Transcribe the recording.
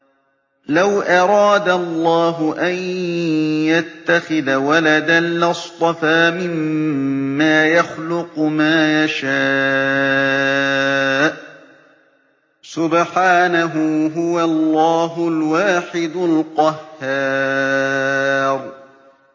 لَّوْ أَرَادَ اللَّهُ أَن يَتَّخِذَ وَلَدًا لَّاصْطَفَىٰ مِمَّا يَخْلُقُ مَا يَشَاءُ ۚ سُبْحَانَهُ ۖ هُوَ اللَّهُ الْوَاحِدُ الْقَهَّارُ